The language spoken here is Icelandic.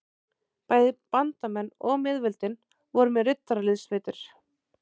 Bæði bandamenn og miðveldin voru með riddaraliðssveitir.